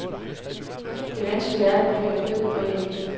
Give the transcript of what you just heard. Det vanskelige er at vurdere kød og æg.